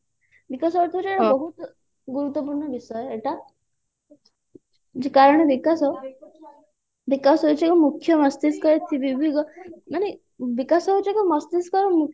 ବିକାଶର ଅର୍ଥ ହଉଛି ବହୁତ ଗୁରୁତ୍ୟପୂର୍ଣ୍ଣ ବିଷୟ ଏଇଟା କାରଣ ବିକାଶ ବିକାଶ ହଉଛି ଏକ ମୁଖ୍ୟ ମସ୍ତିଷ୍କ ମାନେ ବିକାଶ ହଉଛି ଏକ ମସ୍ତିଷ୍କ ର ମୁଖ୍ୟ